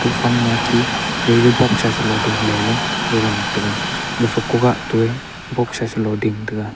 far ma tei tijo boxsa chelo ding la ley ga ngan taiga gafa ku ga ton boxsa chalo ding taiga.